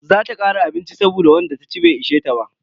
Za ta kara abinci saboda wanda taci bai ishe ta ba.